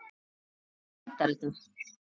Ég meina, hvar endar þetta?